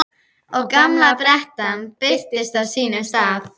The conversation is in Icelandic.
Og gamla grettan birtist á sínum stað.